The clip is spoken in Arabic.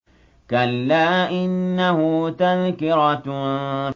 كَلَّا إِنَّهُ تَذْكِرَةٌ